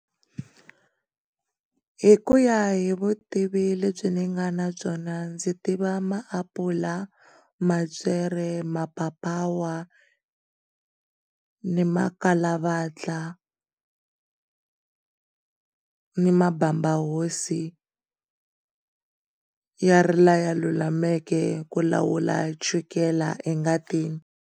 Hikuya hi vutivi lebyi ni nga na byona ndzi tiva maapula, mapyere, mapapawa, ni makhalavatla, ni mabambahosi, ya ri lawa ya lulameke ku lawula chukele engati.